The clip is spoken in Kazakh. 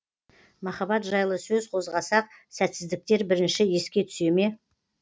махаббат жайлы сөз қозғасақ сәтсіздіктер бірінші еске түсе ме